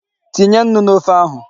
Tinye nnu n'ofe ahụ.